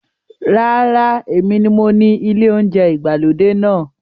Rárá, èmi ni mo ni ilé oúnjẹ ìgbàlódé náà.